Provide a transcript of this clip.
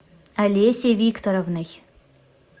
олесей викторовной